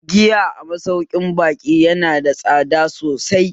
Giya a masaukin baƙi yana da tsada sosai